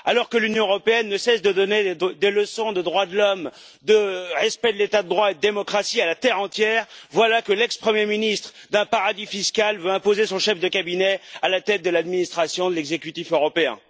Alors que l'Union européenne ne cesse de donner des leçons de droits de l'homme, de respect de l'état de droit et de démocratie à la terre entière, voilà que l'ancien premier ministre d'un paradis fiscal veut imposer son chef de cabinet à la tête de l'administration de l'exécutif européen.